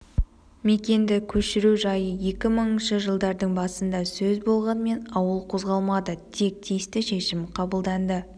мекенді көшіру жайы екі мыңыншы жылдардың басында сөз болғанмен ауыл қозғалмады тек тиісті шешім қабылданды